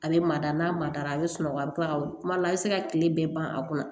A bɛ mada n'a madara a bɛ sunɔgɔ a bɛ to ka kuma a bɛ se ka tile bɛɛ ban a kunna